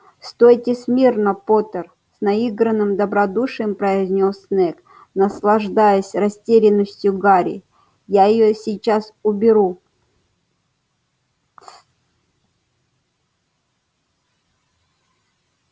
стойте смирно поттер с наигранным добродушием произнёс снегг наслаждаясь растерянностью гарри я её сейчас уберу